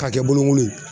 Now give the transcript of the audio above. K'a kɛ bulukolon ye